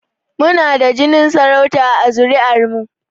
Mu na da jinin sarauta a zuri'ar mu